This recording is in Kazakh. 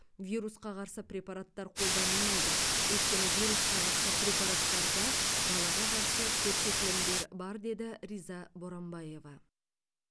вирусқа қарсы препараттар қолданылмайды өйткені вирусқа қарсы препараттарда балаға қарсы көрсетілімдер бар деді риза боранбаева